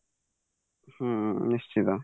ହୁଁ ନିଶ୍ଚିତ